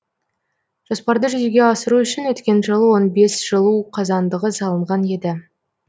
жоспарды жүзеге асыру үшін өткен жылы он бес жылу қазандығы салынған еді